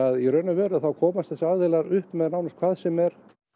í raun og veru komast þessir aðilar upp með hvað sem er